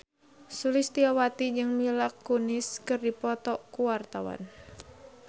Sulistyowati jeung Mila Kunis keur dipoto ku wartawan